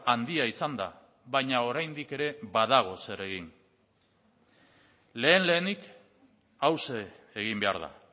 handia izan da baina oraindik ere badago zer egin lehen lehenik hauxe egin behar da